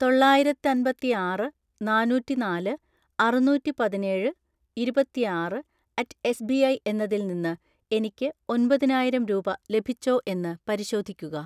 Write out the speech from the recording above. തൊള്ളായിരത്തൻപത്തിആറ് നാന്നൂറ്റിനാല് അറുനൂറ്റിപതിനേഴ് ഇരുപത്തിആറ് അറ്റ് എസ്ബിഐ എന്നതിൽ നിന്ന് എനിക്ക് ഒമ്പതിനായിരം രൂപ ലഭിച്ചോ എന്ന് പരിശോധിക്കുക.